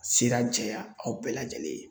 A sira jɛya aw bɛɛ lajɛlen ye .